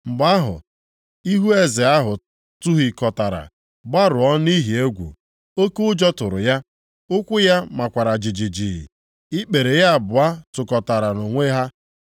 Mgbe ahụ, ihu eze ahụ tụhịkọtara, gbarụọ nʼihi egwu. Oke ụjọ tụrụ ya. Ụkwụ ya makwara jijiji. Ikpere ya abụọ kụkọtara onwe ha.